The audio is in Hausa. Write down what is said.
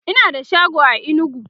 Ina da shago a inugu